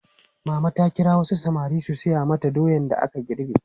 Mama ta kira wasu samari su saya mata doyan da aka girbe.